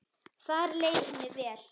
Þar leið henni vel.